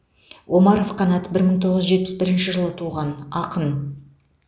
омаров қанат бір мың тоғыз жүз жетпіс бірінші жылы туған ақын